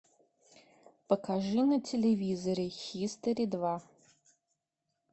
покажи на телевизоре хистори два